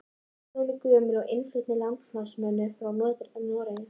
Álfatrúin er gömul og innflutt með landnámsmönnum frá Noregi.